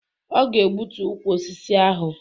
Ọ ga-egbutu ukwu osisi ahụ